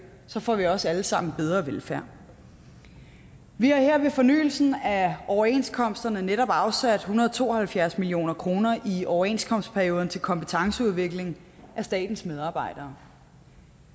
får vi også alle sammen bedre velfærd vi har her ved fornyelsen af overenskomsterne netop afsat en hundrede og to og halvfjerds million kroner i overenskomstperioden til kompetenceudvikling af statens medarbejdere